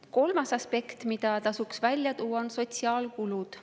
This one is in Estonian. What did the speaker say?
Kolmas aspekt, mida tasub välja tuua, on sotsiaalkulud.